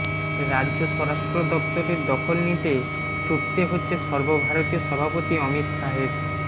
রাজ্য স্বরাষ্ট্র দফতরের দখল নিতে ছুটতে হচ্ছে সর্বভারতীয় সভাপতি অমিত শাহের